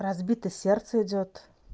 разбито сердце идёт